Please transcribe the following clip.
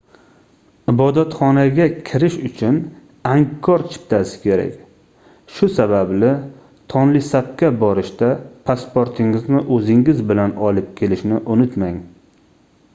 ibodatxonaga kirish uchun angkor chiptasi kerak shu sababli tonlesapga borishda pasportingizni oʻzingiz bilan olib kelishni unutmang